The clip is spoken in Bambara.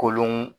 Kolon